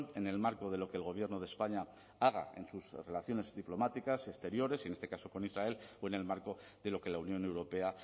en el marco de lo que el gobierno de españa haga en sus relaciones diplomáticas exteriores y en este caso con israel o en el marco de lo que la unión europea